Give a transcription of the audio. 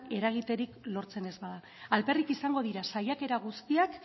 eragiterik lortzen ez bada alperrik izango dira saiakera guztiak